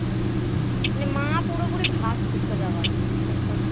তবে মা পুরোপুরি ভাসছে সোজা কথা বিশ্বাস কর